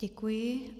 Děkuji.